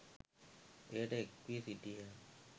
එයට එක් වී සිටියහ.